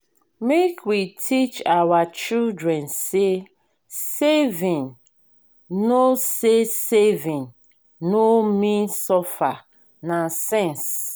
make we teach our children say saving no say saving no mean suffer na sense.